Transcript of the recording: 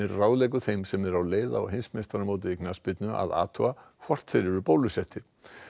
ráðleggur þeim sem eru á leið á heimsmeistaramótið í knattspyrnu að athuga hvort þeir eru bólusettir